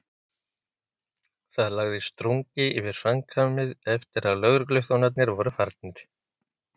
Það lagðist drungi yfir samkvæmið eftir að lögregluþjón- arnir voru farnir.